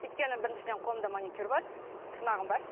өйткені біріншіден қолымда маникюр бар тырнағым бар